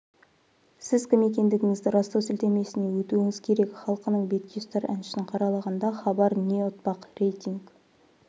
сіз кім екендігіңізді растау сілтемесіне өтуіңіз керек халқының бетке ұстар әншісін қаралағанда хабар не ұтпақ рейтинг